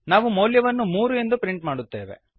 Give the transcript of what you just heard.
ನಾವು ಮೌಲ್ಯವನ್ನು ಮೂರು ಎಂದು ಪ್ರಿಂಟ್ ಮಾಡುತ್ತೇವೆ